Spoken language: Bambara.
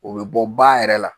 O bɛ bɔ ba yɛrɛ la